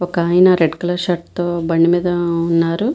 ఒక అయన red colour shirt తో బండి మీద ఉన్నారు.